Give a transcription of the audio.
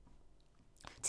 TV 2